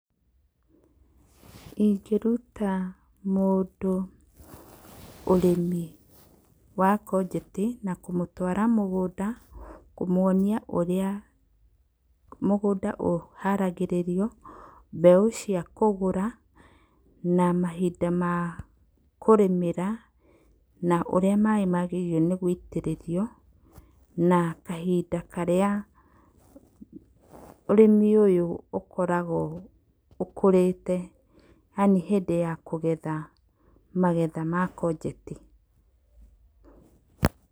Ingĩruta mũndũ ũrĩmi wa ngonjeti na kũmũtwara mũgũnda kũmwonia ũrĩa mũgũnda ũharagĩrĩrio, mbeũ cia kũgũra na mahinda ma kũrĩmamĩra na ũrĩa maĩ magĩrĩirwo nĩ gũitĩrĩrio na kahinda karĩa ũrĩmi ũyũ ũkoragwo ũkũrĩte yani hĩndĩ ya kũgetha, magetha ma ngonjeti.